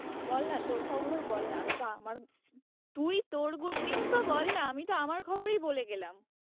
বল না তোর খবরও বল না আমি তো আমার তুই তোর good news ও বল না, আমি তো আমার খবরই বলে গেলাম।